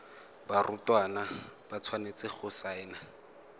barutwana ba tshwanetse go saena